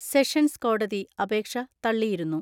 Sessions കോടതി അപേക്ഷ തള്ളിയിരുന്നു.